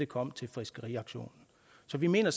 kom til fiskeriauktionen så vi mener